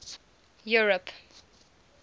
europe